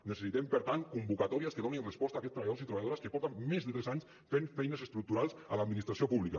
necessitem per tant convocatòries que donin resposta a aquests treballadors i treballadores que porten més de tres anys fent feines estructurals a l’administració pública